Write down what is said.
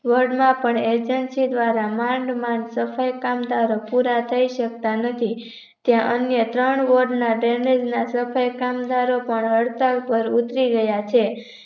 Word માં પણ Agency દ્વારા માંડ માંડ સફાઈ કામદારો પુરા થઇ સકતા નથી ત્યાં અન્ય તન Word ના Drainage ના સફાઈ કામદારો પણ હડતાલ પર ઉતરી ગયા છે